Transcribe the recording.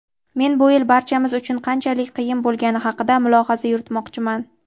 men bu yil barchamiz uchun qanchalik qiyin bo‘lgani haqida mulohaza yuritmoqchiman.